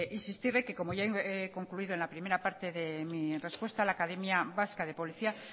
insistirle que como ya he concluido en la primera parte de mi respuesta la academia vasca de policía